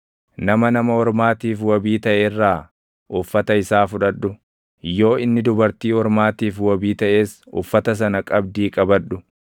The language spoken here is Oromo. Nama nama ormaatiif wabii taʼe irraa uffata isaa fudhadhu; yoo inni dubartii ormaatiif wabii taʼes uffata sana qabdii qabadhu.